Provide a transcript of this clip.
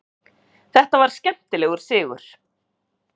Þetta var skemmtilegur sigur.